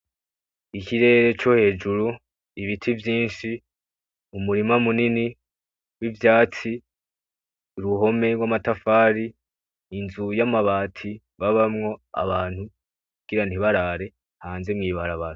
Ikirere co hejuru, ibiti vyinshi , umurima munini nivyatsi, uruhome rwamatafari, inzu yamabati babamwo abantu kugira ntibarare hanze mwibarabara.